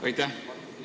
Aitäh!